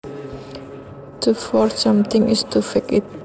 To forge something is to fake it